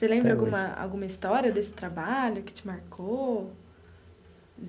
Você lembra alguma alguma história desse trabalho que te marcou?